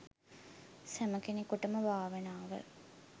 සැම කෙනෙකුටම භාවනාව